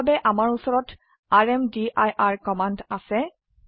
তাৰ বাবে আমাৰ উচৰত ৰ্মদিৰ কমান্ড আছে